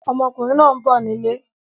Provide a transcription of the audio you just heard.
Ọmọkùnrin náà ń bọ̀ nílé.